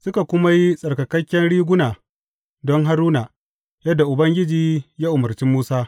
Suka kuma yi tsarkaken riguna don Haruna, yadda Ubangiji ya umarci Musa.